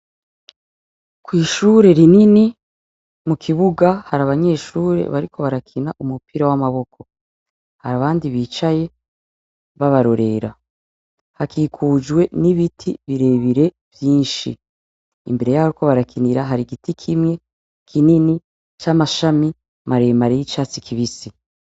Kw'ishure rinini mu kibuga hari abanyeshure bariko barakina umupira w'amaboko, harabandi bicaye babarorera, hakikujwe n'ibiti birebire vyinshi, imbere yaho bariko barakinira hari igiti kimwe kinini c'amashami maremare y'icatsi kibisi.